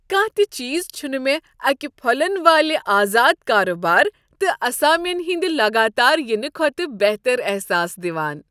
کانٛہہ تہ چیز چھنہٕ مےٚ اکہ پھۄلن والہ آزاد کارٕبار تہٕ اسامین ہٕنٛد لگاتار ینہٕ کھۄتہٕ بہتر احساس دوان۔